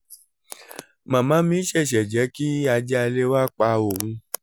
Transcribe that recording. màmá mi ṣẹ̀ṣẹ̀ jẹ́ kí ajá ilé wa pa òun